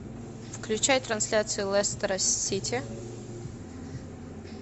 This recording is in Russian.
включай трансляцию лестера сити